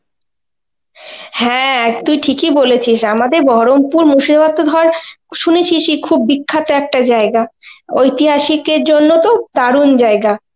হ্যাঁ, তুই ঠিকই বলেছিস আমাদের বহরমপুর মুর্শিদাবাদ তো ধর শুনেছিসই খুব বিখ্যাত একটা জায়গা. ঐতিহাসিকের জন্য তো দারুন জায়গা.